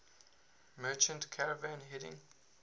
merchant caravan heading